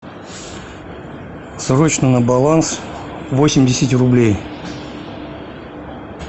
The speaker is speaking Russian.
срочно на баланс восемьдесят рублей